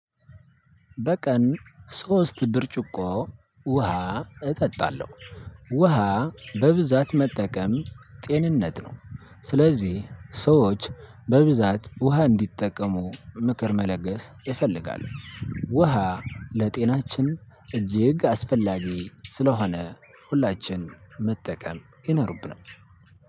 በቀን ሶስት ብርጭቆ ውሃ እጠጣለሁ። ውሃ በብዛት መጠቀም ጤንነት ነው። ስለዚህ ሰዎች በብዛት ውሃ እንዲጠቀሙ ምክር መለገስ ይፈልጋል። ውሃ ለጤናችን እጅግ አስፈላጊ ስለሆነ ሁላችን መጠቀም ይኖርብናል።